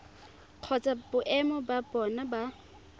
kgotsa boemo ba bona ba